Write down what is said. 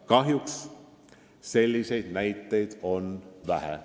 Kahjuks on selliseid näiteid vähe.